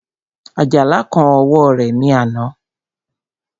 Àjàlá kán ọwọ́ rẹ̀ ní àná